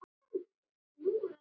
Svo sofnaði ég.